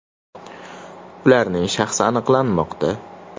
Ularning shaxsi aniqlanmoqda.